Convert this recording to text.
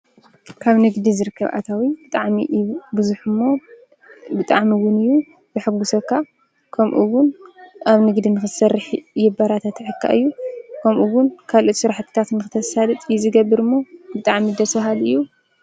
ካብ ንግዲ ዝርከብ ኣታዊ ብጣዕሚ እዩ ብዙሕ እሞ ብጣዕሚ እውን የሐጉሰካ ከምኡውን ኣብ ንግዲ ንኽትሰርሕ የበረታትዐካ እዩ ከምኡ እውን ካልእ ስራሕትታት ንኽተሳልጥ እዩ ዝገብርሞ ብጣዕሚ ደስ በሃሊ እዩ።